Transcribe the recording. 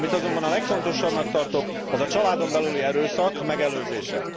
Amit azonban a legfontosabbnak tartok, az a családon belüli erőszak megelőzése.